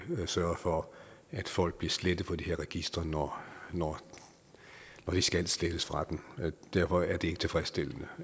sørger for at folk bliver slettet fra de her registre når de skal slettes fra dem derfor er det ikke tilfredsstillende